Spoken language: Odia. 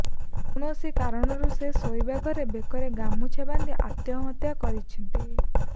କୌଣସି କାରଣରୁ ସେ ଶୋଇବା ଘରେ ବେକରେ ଗାମୁଛା ବାନ୍ଧି ଆତ୍ମହତ୍ୟା କରିଛନ୍ତି